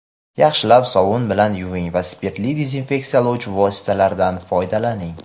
yaxshilab sovun bilan yuving va spirtli dezinfeksiyalovchi vositalardan foydalaning!.